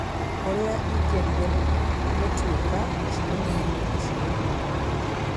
ũrĩa ingĩendire gũtuĩka mũcemanio-inĩ ũcio ũmũthĩ